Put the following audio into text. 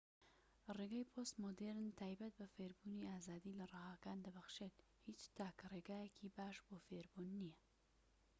ڕێگای پۆست مۆدیڕن تایبەت بە فێربوون ئازادی لە ڕەهاکان دەبەخشێت هیچ تاکە رێگایەکی باش بۆ فێربوون نیە